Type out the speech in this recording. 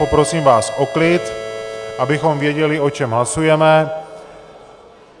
Poprosím vás o klid, abychom věděli, o čem hlasujeme.